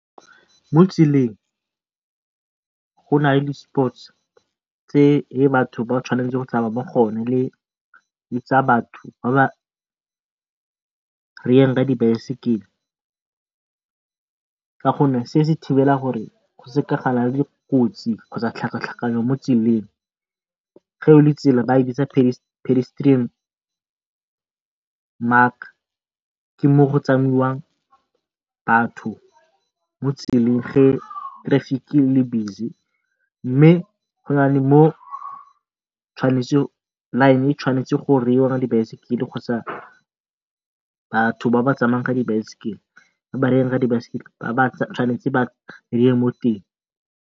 Mo tseleng go nale di tse batho ba tshwanetseng go tsamaya mo go yone le tsa batho ba ba ka di baesekele ka gonne se se thibela gore go seka ga nna le dikotsi kgotsa tlhakatlhakano mo tseleng. tsela ba e bitsa pedestrian mark ke mo go tsamaiwang batho mo tseleng ge traffic ele busy mme go nale mo line e tshwanetse go baesekele kgotsa batho ba ba tsamayang ka dibaesekele ba tshwanetse ba mo teng.